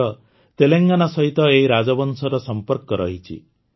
ଆଜିର ତେଲେଙ୍ଗାନା ସହିତ ଏହି ରାଜବଂଶର ସମ୍ପର୍କ ରହିଛି